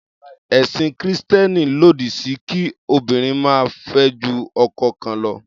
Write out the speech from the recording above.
Ẹ̀sìn Kìrìsìtẹ́ẹ́nì lòdí sí kí obìnrin máa fẹ́ ju ọkọ kan lọ.